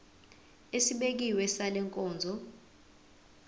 esibekiwe sale nkonzo